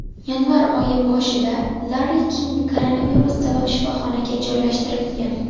Yanvar oyi boshida Larri King koronavirus sabab shifoxonaga joylashtirilgan.